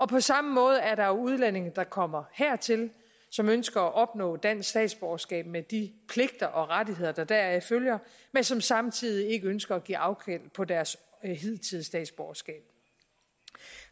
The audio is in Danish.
på samme måde er der jo udlændinge der kommer hertil som ønsker at opnå dansk statsborgerskab med de pligter og rettigheder der deraf følger men som samtidig ikke ønsker at give afkald på deres hidtidige statsborgerskab